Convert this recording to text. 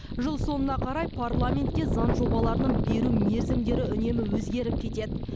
жыл соңына қарай парламентке заң жобаларын беру мерзімдері үнемі өзгеріп кетеді